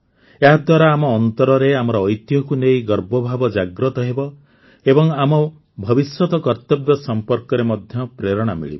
ଏହାଦ୍ୱାରା ଆମ ଅନ୍ତରରେ ଆମର ଐତିହ୍ୟକୁ ନେଇ ଗର୍ବଭାବ ଜାଗ୍ରତ ହେବ ଏବଂ ଆମ ଭବିଷ୍ୟତ କର୍ତବ୍ୟ ସମ୍ପର୍କରେ ମଧ୍ୟ ପ୍ରେରଣା ମିଳିବ